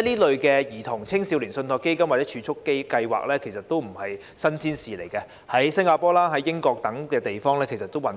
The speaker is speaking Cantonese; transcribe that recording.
類兒童、青少年信託基金或儲蓄計劃並不是新鮮事，在新加坡、英國等地已運作多年。